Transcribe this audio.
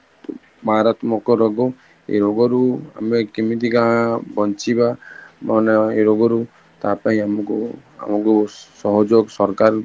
ମାରାତ୍ମକ ରୋଗ ଏଇ ରୋଗରୁ ଆମେ କେମିତିକା ବଞ୍ଚିବା ମାନେ ଏଇ ରୋଗରୁ ତା ପାଇଁ ଆମକୁ ଆମକୁ ସହଯୋଗ ସରକାର